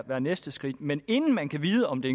være næste skridt men inden man kan vide om det